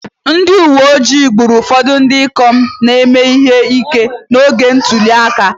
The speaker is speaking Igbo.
Ndị uwe ojii gburu ụfọdụ ndị ikom na-eme ihe ike n'oge ntuli aka